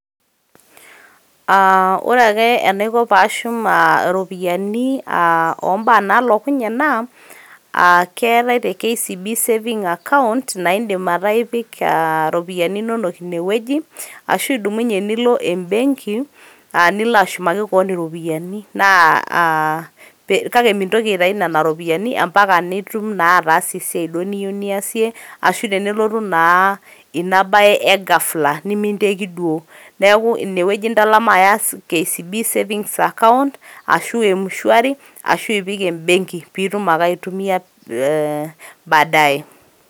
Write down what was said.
Ah ore ake enaiko pashum ah iropiyiani ombaa nalokunye naa, keetae te KCB saving account na idim ataa ipik iropiyiani nonok inewueji, ashu idumunye nilo ebenki, nilo ashumaki kewan iropiyiani. Naa ah kake mintoki aitayu nena ropiyaiani ampaka nitum naa ataasa esiai duo niyieu niasie, ashu tenelotu naa ina bae egafla niminteki duo. Neeku inewueji intalama aya KCB savings account ,ashu M-shwari, ashu ipik ebenki pitum ake aitumia badaye.